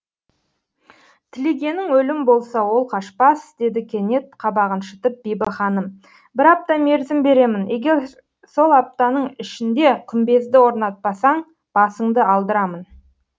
тілегенің өлім болса ол қашпас деді кенет қабағын шытып бибі ханым бір апта мерзім беремін егер сол аптаның ішінде күмбезді орнатпасаң басыңды алдырамын